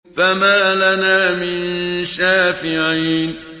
فَمَا لَنَا مِن شَافِعِينَ